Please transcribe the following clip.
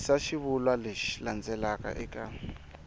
yisa xivulwa lexi landzelaka eka